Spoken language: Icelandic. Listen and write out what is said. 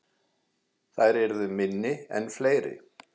Þær yrðu minni en fleiri.